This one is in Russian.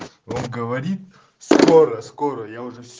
он говорит скоро скорая я уже с